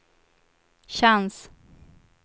chans